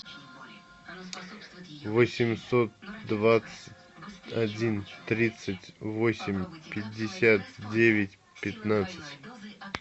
восемьсот двадцать один тридцать восемь пятьдесят девять пятнадцать